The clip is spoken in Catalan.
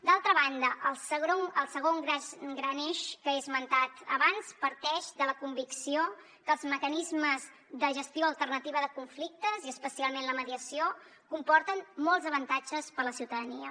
d’altra banda el segon gran eix que he esmentat abans parteix de la convicció que els mecanismes de gestió alternativa de conflictes i especialment la mediació comporten molts avantatges per a la ciutadania